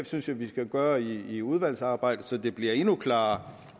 synes jeg vi skal gøre i udvalgsarbejdet så det bliver endnu klarere